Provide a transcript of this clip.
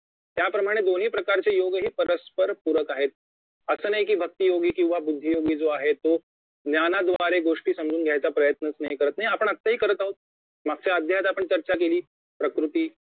त्याप्रमाणे दोन्ही प्रकारचे योगही परस्पर पूरक आहेत असं नाही की भक्ती योगी किंवा बुद्धी योगी जो आहे तो ज्ञानाद्वारे गोष्टी समजून घ्यायचा प्रयत्नच नाही करत नाही ते आपण आताही करत आहोत मागच्या अध्यायात आपण चर्चा केली प्रकृती